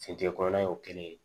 Fintin kɔrɔ y'o kelen ye